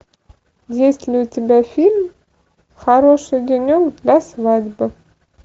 есть ли у тебя фильм хороший денек для свадьбы